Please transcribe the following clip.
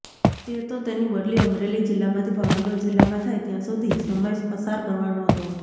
તે તો તેની બદલી અમરેલી જિલ્લામાંથી ભાવનગર જિલ્લામાં થાય ત્યાં સુધી સમય પસાર કરવાનો હતો